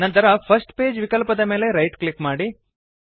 ನಂತರ first page ವಿಕಲ್ಪದ ಮೇಲೆ ರೈಟ್ ಕ್ಲಿಕ್ ಮಾಡಿ